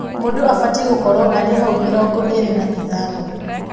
Mũndũ abatiĩ gũkorwo arĩ hau mĩrongo ĩĩrĩ na ithano-inĩ